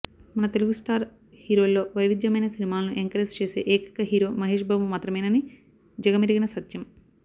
మన తెలుగు స్టార్ హీరోల్లో వైవిధ్యమైన సినిమాలను ఎంకరేజ్ చేసే ఏకైక హీరో మహేష్ బాబు మాత్రమేనని జగమెరిగిన సత్యం